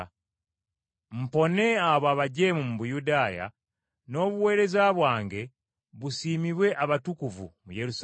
mpone abo abajeemu mu Buyudaaya, n’obuweereza bwange busiimibwe abatukuvu mu Yerusaalemi,